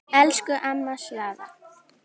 Elsku amma Svava.